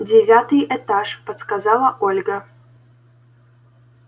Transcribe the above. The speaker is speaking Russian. девятый этаж подсказала ольга